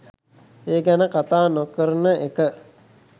ඒ ගැන කතා නොකරන එක.